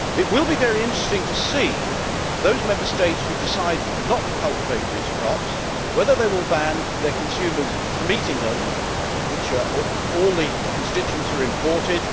It will be very interesting to see, in those Member States which decide not to cultivate these crops, whether they will ban their consumers from eating them when all the constituents are imported.